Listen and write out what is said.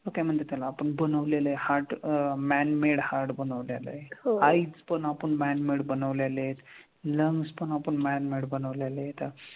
मग काय म्हणतात त्याला आपण बनवलेलं आहे heart uh man made heart बनवलेलं आहे एक. Eyes पण आपण man made बनवलेले आहेत. Lungs पण आपण man made बनवलेले आहेत.